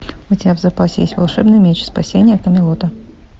у тебя в запасе есть волшебный меч спасение камелота